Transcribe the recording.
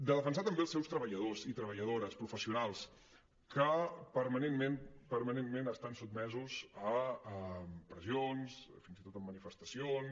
de defensar també els seus treballadors i treballadores professionals que perma·nentment permanentment estan sotmesos a pressions fins i tot en manifestacions